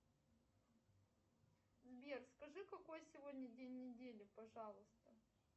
сбер скажи какой сегодня день недели пожалуйста